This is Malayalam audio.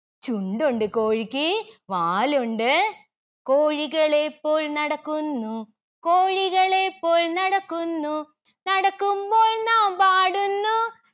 ചുണ്ടുണ്ട് കോഴിക്ക് വാലുണ്ട്‌. കോഴികളെ പോൽ നടക്കുന്നു കോഴികളെ പോൽ നടക്കുന്നു. നടക്കുമ്പോൾ നാം പാടുന്നു